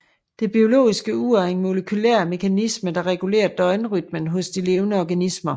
Det biologiske ur er en molekylær mekanisme der regulerer døgnrytmen hos de levende organismer